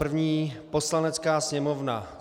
První: Poslanecká sněmovna